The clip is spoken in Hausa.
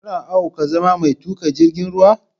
Kana ao ka zama mai tuƙa jirgin ruwa?